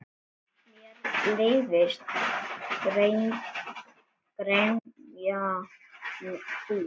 Mér leiðist gremja þín.